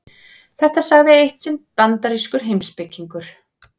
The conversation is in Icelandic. Þetta sagði eitt sinn bandarískur heimspekingur.